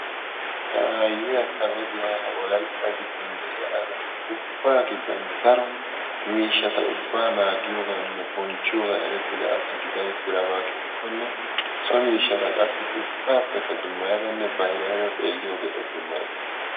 ha aayiya ta goddiya wolaytta giddon de'iyara ubbaa giddon daro miishata ubaa nmaagiyoganinne bonchchiyogan erettida asa gida utidaba gidikonne so miishshata qassi ubaapenne dummayadanne bayrayada xeeliyogee o dummayees.